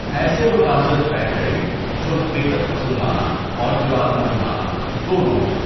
ایسے مقاصد طے کریں جو حقیقت پسندانہ اورجراٴت مندانہ دونوں ہوں۔